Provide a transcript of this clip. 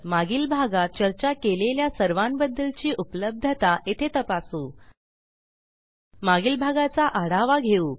मागील भागात चर्चा केलेल्या सर्वांबद्दलची उपलब्धता येथे तपासू मागील भागाचा आढावा घेऊ